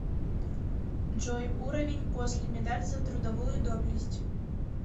джой уровень после медаль за трудовую доблесть